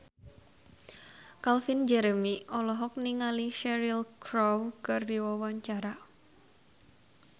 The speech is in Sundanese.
Calvin Jeremy olohok ningali Cheryl Crow keur diwawancara